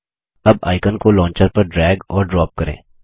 अब आइकन को लॉन्चर पर ड्रैग और ड्रॉप करें